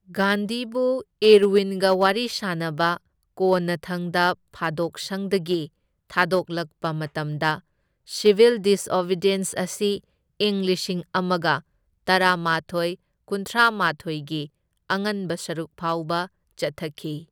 ꯒꯥꯟꯙꯤꯕꯨ ꯏꯔꯋꯤꯟꯒ ꯋꯥꯔꯤ ꯁꯥꯅꯅꯕ ꯀꯣꯟꯅ ꯊꯪꯗ ꯐꯥꯗꯣꯛꯁꯪꯗꯒꯤ ꯊꯥꯗꯣꯛꯂꯛꯄ ꯃꯇꯝꯗ, ꯁꯤꯚꯤꯜ ꯗꯤꯁꯑꯣꯕꯤꯗꯤꯌꯦꯟꯁ ꯑꯁꯤ ꯏꯪ ꯂꯤꯁꯤꯡ ꯑꯃꯒ ꯇꯔꯥꯃꯥꯊꯣꯢ ꯀꯨꯟꯊ꯭ꯔꯥ ꯃꯥꯊꯣꯢꯒꯤ ꯑꯉꯟꯕ ꯁꯔꯨꯛ ꯐꯥꯎꯕ ꯆꯠꯊꯈꯤ꯫